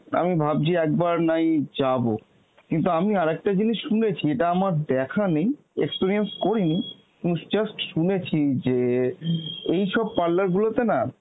আমি ভাবছি একবার নাই যাব. কিন্তু আমি আর একটা জিনিস শুনেছি, এটা আমার দেখা নেই experience করিনি উম just শুনেছি যে এইসব parlour গুলোতে না